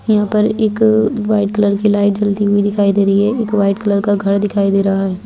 यहां पर एक व्हाइट कलर की लाइट जलती हुई दिखाई दे रही है एक व्हाइट कलर का घर दिखाई दे रहा है।